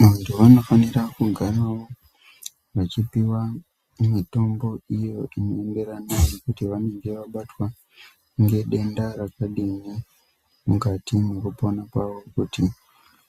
Muntu anofanira kugaravo achipiva mitombo iyo inoenderana nekuti vanenge vabatwa ngedenda rakadini mukati mwekupona kwavo. Kuti